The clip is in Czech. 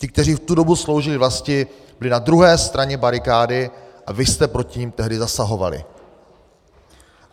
Ti, kteří v tu dobu sloužili vlasti, byli na druhé straně barikády a vy jste proti nim tehdy zasahovali.